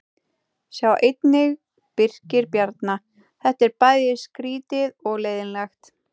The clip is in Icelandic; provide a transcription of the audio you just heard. Sjá einnig: Birkir Bjarna: Þetta er bæði skrýtið og leiðinlegt